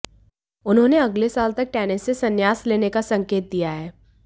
उन्होंने अगले साल तक टेनिस से संन्यास लेने का संकेत दिया है